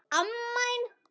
Gakktu ekki að opinu.